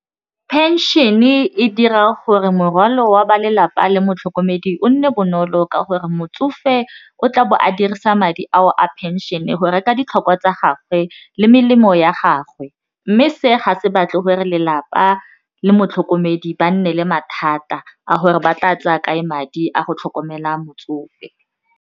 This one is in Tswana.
Pension-e dira gore morwalo wa ba lelapa le motlhokomedi o nne bonolo ka gore motsofe o tla bo a dirisa madi ao a pension-e go reka ditlhokwa tsa gagwe le melemo ya gagwe mme se ga se batle gore lelapa le motlhokomedi ba nne le mathata a gore ba tla tsaya kae madi a go tlhokomela motsofe.